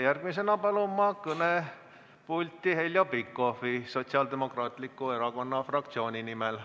Järgmisena palun ma kõnepulti Heljo Pikhofi Sotsiaaldemokraatliku Erakonna fraktsiooni nimel.